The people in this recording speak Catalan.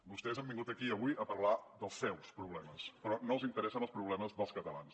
vostès han vingut aquí avui a parlar dels seus problemes però no els interessen els problemes dels catalans